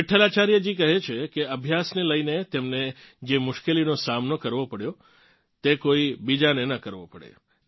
વિઠ્ઠલાચાર્યજી કહે છે કે અભ્યાસને લઇને તેમને જે મુશ્કેલીઓનો સામનો કરવો પડ્યો તે કોઇ બીજાને ન કરવો પડે